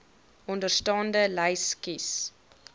onderstaande lys kies